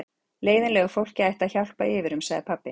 Leiðinlegu fólki ætti að hjálpa yfir um, sagði pabbi.